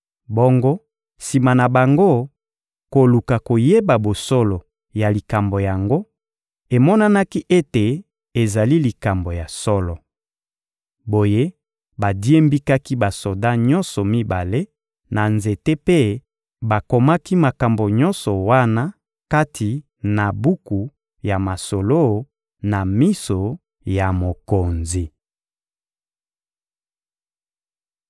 Bongo sima na bango koluka koyeba bosolo ya likambo yango, emonanaki ete ezali likambo ya solo. Boye badiembikaki basoda nyonso mibale na nzete mpe bakomaki makambo nyonso wana kati na buku ya masolo, na miso ya mokonzi.